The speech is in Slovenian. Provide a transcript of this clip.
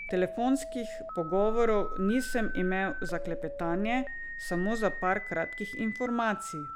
Telefonskih pogovorov nisem imel za klepetanje, samo za par kratkih informacij.